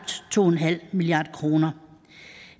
to milliard kroner